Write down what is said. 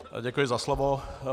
Děkuji za slovo.